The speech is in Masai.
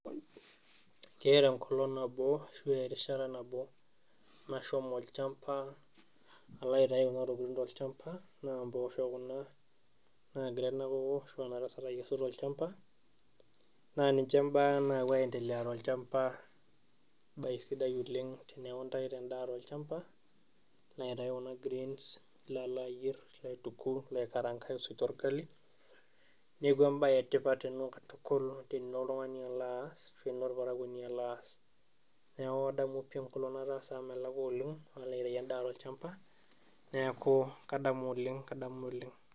Keeta enkolong nabo ashu erishata nabo nashomo olchamba alo aitayu kuna tokiting, naa mboosho kuna naagira ena koko akesu tolchamba naa ninche imbaak naapwo aendelea tolchamba, embae sidai oleng eneeku intaito endaa tolchamba, nilo aitai kuna greens nilo ayierr, aituku, nilo aikarankan aitusujie orgali. Neeku embae etipat ena katukul tenilo oltung'ani alo aas ashu enilo orparakwoni alo aas. Neeku kadamu pii enkolong nataasa amu melakwa oleng, alo aitayu endaa tolchamba. Neeku kadamu oleng, kadamu oleng